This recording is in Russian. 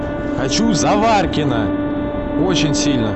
хочу заваркино очень сильно